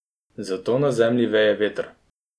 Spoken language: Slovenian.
Zato na zemlji veje veter.